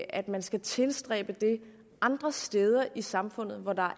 at man skal tilstræbe det andre steder i samfundet hvor der